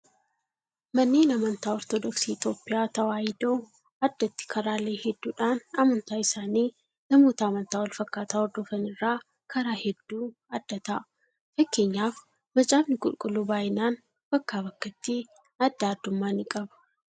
Manneen amantaa ortodoksii Itoophiyaa tawaahidoo addatti karaalee hedduudhaan amantaa isaanii namoota amantaa wal fakkaataa hordofan irraa karaa hedduu adda ta'a. Fakkeenyaaf Macaafni Qulqulluu baay'inaan bakkaa bakkatti addaa addummaa ni qaba.